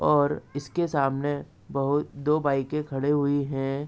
और इसके सामने बहुत दो बाइकें खड़ी हुई हैं।